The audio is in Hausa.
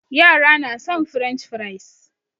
Yara na son french fries